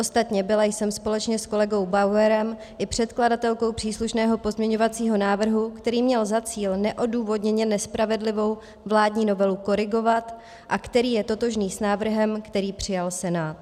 Ostatně byla jsem společně s kolegou Bauerem i předkladatelkou příslušného pozměňovacího návrhu, který měl za cíl neodůvodněně nespravedlivou vládní novelu korigovat a který je totožný s návrhem, který přijal Senát.